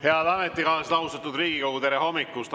Head ametikaaslased, austatud Riigikogu, tere hommikust!